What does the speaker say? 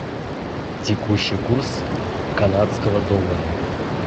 текущий курс канадского доллара